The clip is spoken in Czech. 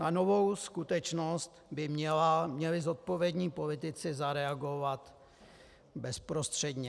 Na novou skutečnost by měli zodpovědní politici zareagovat bezprostředně.